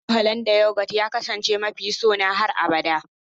Har yanzu Hollanda yoghurt ya kasance mafi sona har abada